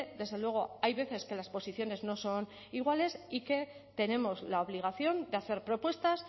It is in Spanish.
desde luego hay veces que las posiciones no son iguales y que tenemos la obligación de hacer propuestas